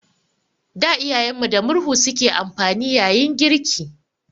Da Iyayen mu da murhu su ke amfani yayin girki.